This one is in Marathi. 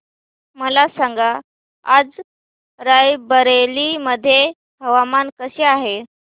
मला सांगा आज राय बरेली मध्ये हवामान कसे आहे